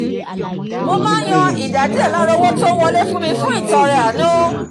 mo máa ń yan ìdá díẹ̀ lára owó tó ń wọlé fún mi fún ìtọrẹ àánú